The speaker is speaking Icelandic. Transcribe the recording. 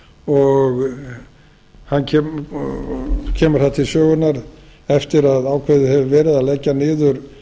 og hann kemur til sögunnar eftir að ákveðið hefur verið að leggja niður